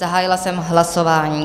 Zahájila jsem hlasování.